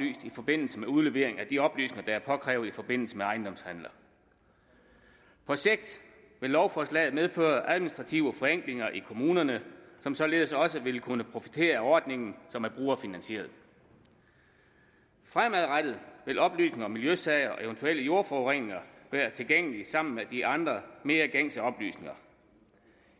i forbindelse med udlevering af de oplysninger der er påkrævet i forbindelse med ejendomshandler på sigt vil lovforslaget medføre administrative forenklinger i kommunerne som således også vil kunne profitere af ordningen som er brugerfinansieret fremadrettet vil oplysninger om miljøsager og eventuel jordforurening være tilgængelige sammen med de andre mere gængse oplysninger